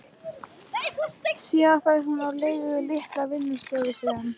Síðan fær hún á leigu litla vinnustofu sem